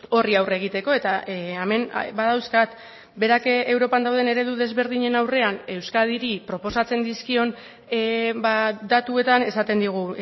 horri aurre egiteko eta hemen badauzkat berak europan dauden eredu desberdinen aurrean euskadiri proposatzen dizkion datuetan esaten digu